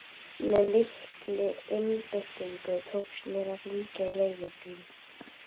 Með mikilli einbeitingu tókst mér að hringja á leigubíl.